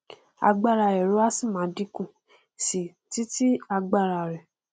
agbára ẹrọ á sì máà dínkù síi titi agbára rẹ